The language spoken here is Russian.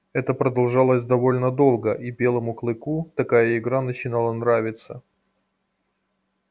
это продолжалось довольно долго и белому клыку такая игра начинала нравиться